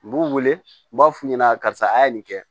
N b'u wele n b'a f'u ɲɛna karisa a ye nin kɛ